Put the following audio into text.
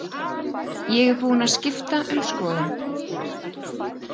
Ég er búin að skipta um skoðun.